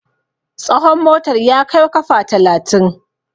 tsahon motar ya Kaiw kafa talatin